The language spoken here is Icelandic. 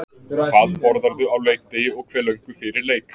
Hvað borðarðu á leikdegi og hve löngu fyrir leik?